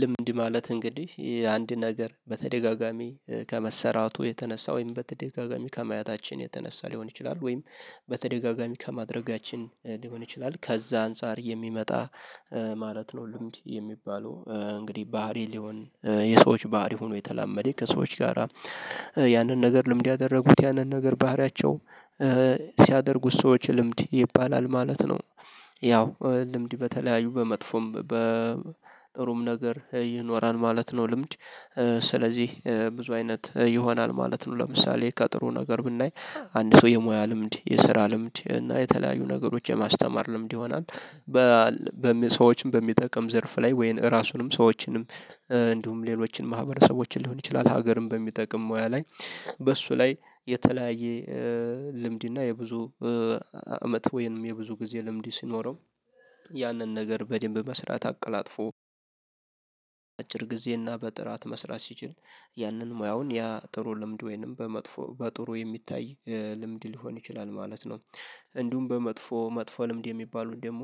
ልምድ ማለት እንግዲህ አንድ ነገር በተደጋጋሚ ከመሰራቱ የተነሳ ወይም በተደጋጋሚ ከመያታችን የተነሳ ሊሆን ይችላል ወይም በተደጋጋሚ ከማድረጋችን ሊሆን ይችላል ከዛ አንፃር የሚመጣ ማለት ነው። ልምድ የሚባለው እንግዲህ ባህሪ ሊሆን የሰዎች ባህሪ ሆኖ የተላመደ ከሰዎች ጋራ ያንን ነገር ልምድ ያደረጉት ያንን ነገር ባህሪያቸው ሲያደርጉት ሰዎች ልምድ ይባላል ማለት ነው። ያው ልምድ በተለያዩ በመጥፎም በጥሩም ነገር ይኖራል ማለት ነው። ልምድ ስለዚህ ብዙ አይነት ይሆናል ማለት ነው። ለምሳሌ ከጥሩ ነገር ብናይ አንድ ሰው የሙያ ልምድ የስራ ልምድ እና የተለያዩ ነገሮች የማስተማር ልምድ ይሆናል። በሰዎችም በሚጠቅም ዘርፍ ላይ ወይን ራሱንም ሰዎችንም እንዲሁም ሌሎችን ማህበረሰቦችን ሊሆን ይችላል። ሀገርን በሚጠቅም ሙያ ላይ በሱ ላይ የተለያየ ልምድ እና የብዙ አመት ወይንም የብዙ ጊዜ ልምድ ሲኖረው ያንን ነገር በደንብ መስራት አቀላጥፎ። አጭር ጊዜ እና በጥራት መስራት ሲጅን ያንን ሙያውን ያ ጥሩ ልምድ ወይንም በመጥፎ በጥሩ የሚታይ ልምድ ሊሆን ይችላል ማለት ነው። እንዲሁም በመጥፎ መጥፎ ልምድ የሚባሉን ደግሞ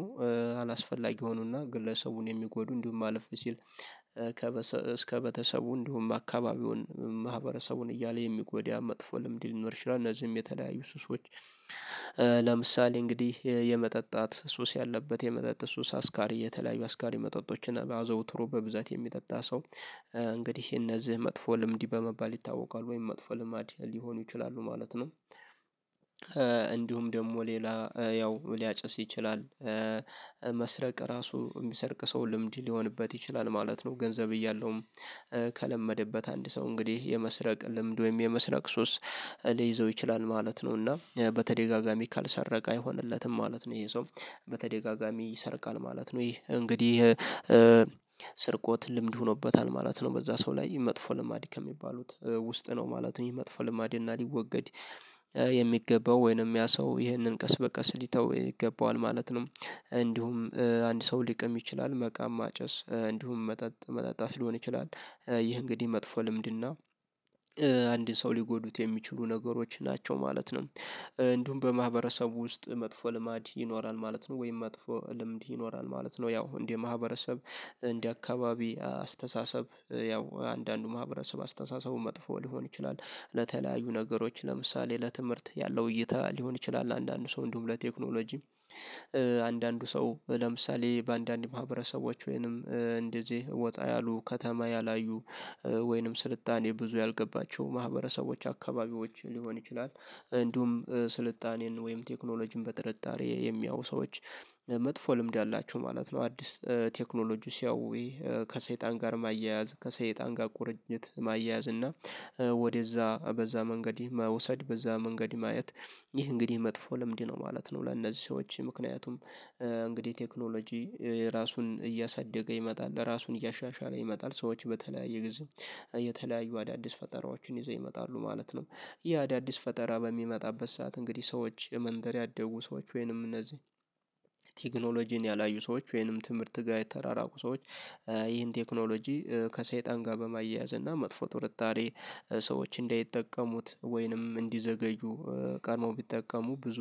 አላስፈላጊ ሆኖና ግለሰቡን የሚጎዱ እንዲሁም አለፍ ሲል ከበተሰቡ እንዲሁም አካባቢውን ማህበረሰቡን እያለ የሚጎዳ መጥፎ ልምድ ሊኖር ይችላል እነዚህም የተለያዩ ሱስ። ለምሳሌ እንግዲህ የመጠጣት ሱስ ያለበት የመጠጥ ሱስ አስካሪ የተለያዩ አስካሪ መጠጦችን አዘውትሮ በብዛት የሚጠጣ ሰው። እንግዲህ እነዚህ መጥፎ ልምድ በመባል ይታወቃል ወይም መጥፎ ልማድ ሊሆኑ ይችላሉ ማለት ነው። እንዲሁም ደግሞ ሌላ ያው ሊያጭስ ይችላል። መስረቅ ራሱ የሚሰርቅ ሰው ልምድ ሊሆንበት ይችላል ማለት ነው። ገንዘብ እያለውም። ከለመደበት አንድ ሰው እንግዲህ የመስረቅ ልምድ ወይም የመስረቅ ሶስት ሊይዘው ይችላል ማለት ነው። እና በተደጋጋሚ ካልሰረቀ አይሆንለትም ማለት ነው። ይሄ ሰው በተደጋጋሚ ይሰርቃል ማለት ነው። ይሄ እንግዲህ። ስርቆት ልምድ ሆኖበታል ማለት ነው። በዛ ሰው ላይ መጥፎ ልማድ ከሚባሉት ውስጥ ነው ማለት ነው። ይሄ መጥፎ ልማድ እና ሊወገድ። የሚገባው ወይንም ያ ሰው ይህንን ቀስ በቀስ ሊተው ይገባዋል ማለት ነው። እንዲሁም አንድ ሰው ሊቀም ይችላል መቃም ማጨስ እንዲሁም መጠጥ መጠጣት ሊሆን ይችላል። ይህ እንግዲህ መጥፎ ልምድና አንድ ሰው ሊጎዱት የሚችሉ ነገሮች ናቸው ማለት ነው። እንዲሁም በማህበረሰቡ ውስጥ መጥፎ ልማድ ይኖራል ማለት ነው ወይም መጥፎ ልምድ ይኖራል ማለት ነው። ያው እንደ ማህበረሰብ እንደ አካባቢ አስተሳሰብ ያው አንዳንዱ ማህበረሰብ አስተሳሰቡን መጥፎ ሊሆን ይችላል። ለተለያዩ ነገሮች ለምሳሌ ለትምህርት ያለው እይታ ሊሆን ይችላል አንዳንዱ ሰው እንዲሁም ለቴክኖሎጂ አንዳንዱ ሰው ለምሳሌ በአንዳንድ ማህበረሰቦች ወይንም እንደዚህ ወጣ ያሉ ከተማ ያላዩ ወይንም ስልጣኔ ብዙ ያልገባቸው ማህበረሰቦች አካባቢዎች ሊሆን ይችላል። እንዲሁም ስልጣኔን ወይም ቴክኖሎጂን በጥርጣሬ የሚያው ሰዎች መጥፎ ልምድ አላቸው ማለት ነው። አዲስ ቴክኖሎጂ ሲያውይ ከሰይጣን ጋር ማያያዝ ከሰይጣን ጋር ቁርኝት ማያያዝ እና ወደዛ በዛ መንገድ መውሰድ በዛ መንገድ ማየት። ይህ እንግዲህ መጥፎ ለምንድነው ማለት ነው? ለእነዚህ ሰዎች ምክንያቱም እንግዲህ ቴክኖሎጂ ራሱን እያሳደገ ይመጣል ራሱን እያሻሻለ ይመጣል። ሰዎች በተለያዩ ጊዜ የተለያዩ አዳዲስ ፈጠራዎችን ይዘው ይመጣሉ ማለት ነው። ይህ አዳዲስ ፈጠራ በሚመጣበት ሰዓት እንግዲህ ሰዎች መንደር ያደጉ ሰዎች ወይንም እነዚህ ቴክኖሎጂን ያላዩ ሰዎች ወይንም ትምህርት ጋር የተራራቁ ሰዎች። ይህን ቴክኖሎጂ ከሰይጣን ጋር በማያያዝ እና መጥፎ ትርጣሬ ሰዎች እንዳይጠቀሙት ወይንም እንዲዘገዩ ቀድመው ቢጠቀሙ ብዙ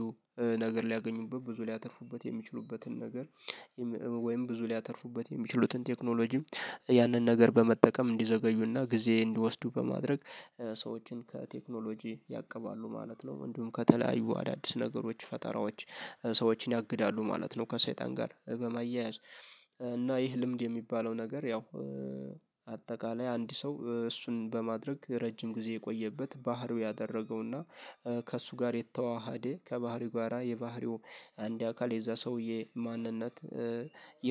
ነገር ሊያገኙበት ብዙ ሊያተፉበት የሚችሉበትን ነገር። ወይም ብዙ ሊያተርፉበት የሚችሉትን ቴክኖሎጂ ያንን ነገር በመጠቀም እንዲዘገዩና ጊዜ እንዲወስዱ በማድረግ ሰዎችን ከቴክኖሎጂ ያቀባሉ ማለት ነው። ምንድነው ከተለያዩ አዳዲስ ነገሮች ፈጠራዎች ሰዎችን ያግዳሉ ማለት ነው። ከሰይጣን ጋር በመያያዝ እና ይህ ልምድ የሚባለው ነገር ያው። አጠቃላይ አንድ ሰው እሱን በማድረግ ረጅም ጊዜ የቆየበት ባህሩ ያደረገውና ከእሱ ጋር የተዋሃደ ከባህሪው ጋራ የባህሪው አንድ አካል የዛ ሰውዬ ማንነት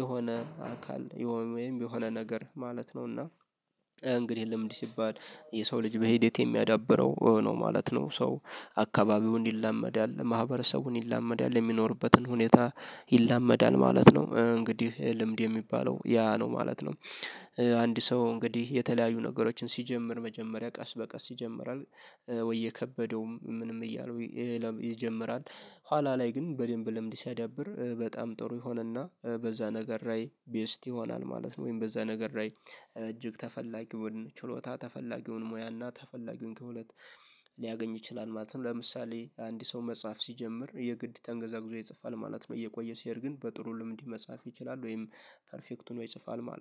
የሆነ አካል የሆነ ወይም የሆነ ነገር ማለት ነው። እና እንግዲህ ልምድ ሲባል የሰው ልጅ በሂደት የሚያዳብረው ነው ማለት ነው። ሰው አካባቢውን ይላመዳል ማህበረሰቡን ይላመዳል የሚኖርበትን ሁኔታ ይላመዳል ማለት ነው። እንግዲህ ልምድ የሚባለው ያ ነው ማለት ነው። አንድ ሰው እንግዲህ የተለያዩ ነገሮችን ሲጀምር መጀመሪያ ቀስ በቀስ ይጀምራል። ወይ የከበደውም ምንም እያሉ ይጀምራል። ኋላ ላይ ግን በደንብ ልምድ ሲያዳብር በጣም ጥሩ የሆነና በዛ ነገር ላይ ቤስት ይሆናል ማለት ነው። ወይም በዛ ነገር ላይ እጅግ ተፈላጊውን ችሎታ ተፈላጊውን ሙያና ተፈላጊውን ከሁለት ሊያገኝ ይችላል ማለት ነው። ለምሳሌ አንድ ሰው መጽሐፍ ሲጀምር የግድ ተንገዛግዞ ይጽፋል ማለት ነው። እየቆየ ሲሄድ ግን በጥሩ ልምድ መጻፍ ይችላል ወይም ፐርፌክቱን ይጽፋል ማለት ነው